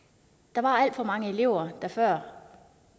der var alt for mange elever der før